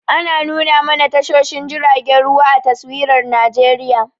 Ana nuna mana tashoshin jiragen ruwa a taswirar Najeriya.